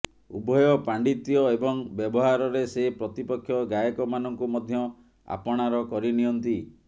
ଉଭୟ ପାଣ୍ଡିତ୍ୟ ଏବଂ ବ୍ୟବହାରରେ ସେ ପ୍ରତିପକ୍ଷ ଗାୟକମାନଙ୍କୁ ମଧ୍ୟ ଆପଣାର କରିନିଅନ୍ତି